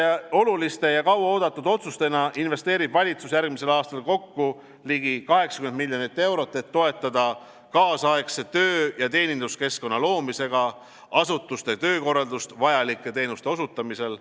Väga oluliste ja kauaoodatud otsustena investeerib valitsus järgmisel aastal kokku ligi 80 miljonit eurot, et toetada kaasaegse töö- ja teeninduskeskkonna loomisega asutuste töökorraldust vajalike teenuste osutamisel.